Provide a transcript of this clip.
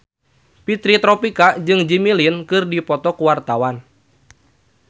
Fitri Tropika jeung Jimmy Lin keur dipoto ku wartawan